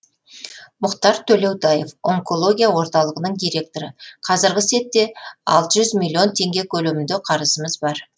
мұхтар төлеутаев онкология орталығының директоры қазіргі сәтте алты жүз миллион теңге көлемінде қарызымыз бар